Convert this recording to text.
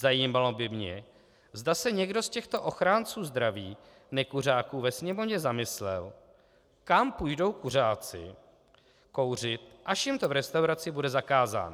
Zajímalo by mě, zda se někdo z těchto ochránců zdraví nekuřáků ve Sněmovně zamyslel, kam půjdou kuřáci kouřit, až jim to v restauraci bude zakázáno.